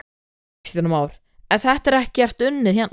Kristján Már: En þetta er ekkert unnið hérna?